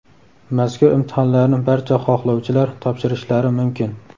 mazkur imtihonlarni barcha xohlovchilar topshirishlari mumkin.